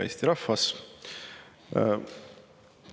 Hea Eesti rahvas!